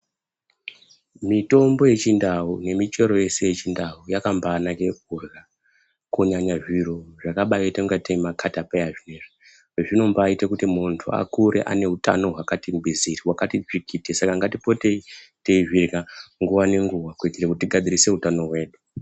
Mitombo yechindau nemichero yese yechindau yakabaanaka kurya kunyanya zviro zvakabaita ingatei makatapeya zviyazvi zvinombaaite kuti muntu akure ane utano hwakati ngwiziri hwakati tsvikiti saka ngatipotei twizvirya nguwa nenguwa kuitire kuti tigadzirise utano hwedu.